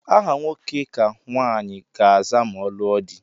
Aha nwoke ka nwanyị ga aza ma ọ lụọ di